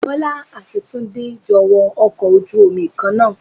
Bọ́lá àti Túndé jọ wọ ọkọ̀ ojú Omi Kan náà